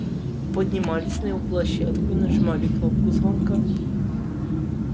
поднимались на его площадку и нажимали кнопку звонка